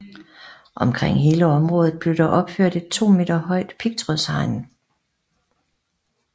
Omkring hele området blev der opført et to meter højt pigtrådshegn